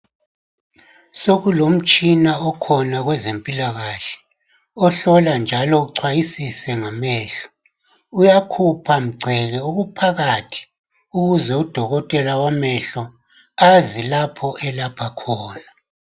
Sokulomtshina okhona kwezempilakahle , ohlola njalo uchwayisise ngamehlo. Uyakhupha mgceke okuphakathi ukuze udokotela wamehlo azi lapho elapha khona.